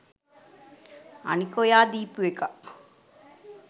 අනික ඔයා දීපු එකක්